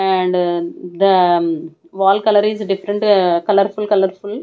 and the wall colour is different colourful colourful.